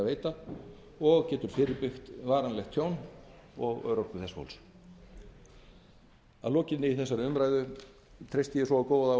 veita og getur fyrirbyggt varanlegt tjón og örorku þessa fólks við þurfum sameiginlegt átak þjóðarinnar til að berjast gegn atvinnuleysinu og afleiðingum þess ég treysti á góða og vandaða meðferð